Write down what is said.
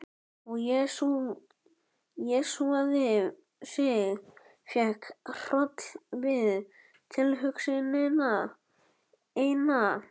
Og jesúsaði sig, fékk hroll við tilhugsunina eina.